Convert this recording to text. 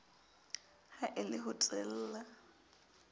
ha e le ho teela